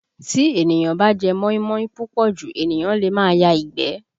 Tí èniyàn bá jẹ́ móímóí púpọ̀ jù, ènìyàn lè máa ya ìgbẹ́